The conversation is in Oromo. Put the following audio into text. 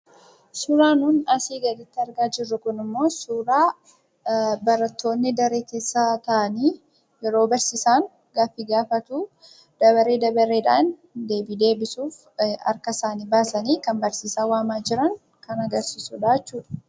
Suuraa nuun asii gaditti argaa jirru kunimmoo suuraa barattoonni daree keessa taa'anii, yeroo barsiisaan gaaffii gaafatuu dabaree dabareedhaan deebii deebisuuf harka isaanii baasanii kan barsiisaa waamaa jiran kan agarsiisudhaa jechuudha.